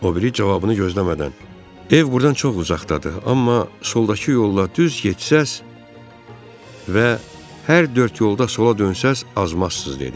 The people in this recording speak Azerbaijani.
O biri cavabını gözləmədən: Ev burdan çox uzaqdadır, amma soldakı yolla düz getsəz və hər dörd yolda sola dönsəz azmazsız, dedi.